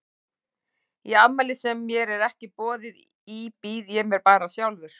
Í afmæli sem mér er ekki boðið í býð ég mér bara sjálfur.